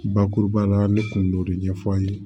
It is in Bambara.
Bakuruba la ne kun b'o de ɲɛf'a ye